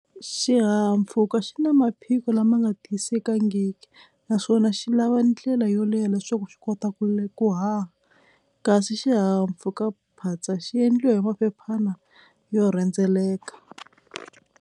Xihahampfhuka xi na maphiko lama nga tiyisekangiki naswona xi lava ndlela yo leha leswaku xi kota ku ku haha kasi xihahampfhukaphatsa xi endliwa hi maphephana yo rhendzeleka.